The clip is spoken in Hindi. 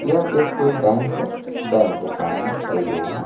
यह एक कोई बैंक है बैंक के सामने कई लोग हैं।